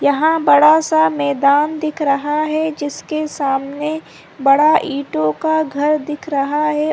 यहाँ बड़ा सा मैदान दिख रहा है जिसके सामने बड़ा ईटो का घर दिख रहा है ।